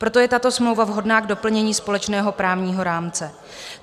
Proto je tato smlouva vhodná k doplnění společného právního rámce.